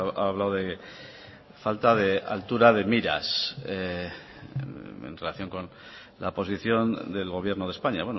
ha hablado de falta de altura de miras en relación con la posición del gobierno de españa